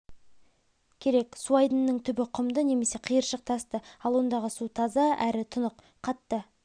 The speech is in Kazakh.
керек су айдынының түбі құмды немесе қиыршық тасты ал ондағы су таза әрі тұнық қатты